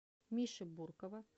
миши буркова